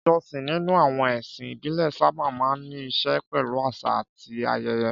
Ìjọsìn nínú àwọn ẹ̀sìn ìbílẹ̀ sábà máa ń ní í ṣe pẹ̀lú àṣà àti ayẹyẹ.